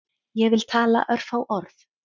Ég vil tala örfá orð